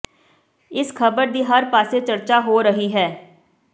ਇਸ ਖਬਰ ਦੀ ਹਰ ਪਾਸੇ ਚਰਚਾ ਹੋ ਰਹੀ ਹੈ